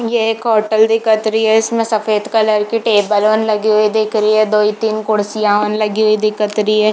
ये एक होटल दिखत रही है इसमें सफ़ेद कलर की टेबल मन लगी हुई दिख रही है दोई तीन कुर्सियां मन लगी हुई दिखत रही है।